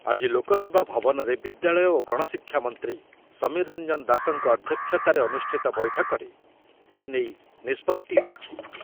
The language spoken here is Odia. ଆଜି ଲୋକ ସେବା ଭବନରେ ବିଦ୍ୟାଳୟ ଓ ଗଣଶିକ୍ଷା ମନ୍ତ୍ରୀ ସମୀର ରଞ୍ଜନ ଦାଶଙ୍କ ଅଧ୍ୟକ୍ଷତାରେ ଅନୁଷ୍ଠିତ ବୈଠକରେ ଏନେଇ ନିଷ୍ପତ୍ତି ହୋଇଛି।